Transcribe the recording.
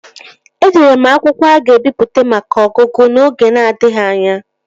Edere m akwụkwọ a ga-ebipụta maka ọgụgụ n'oge na-adịghị anya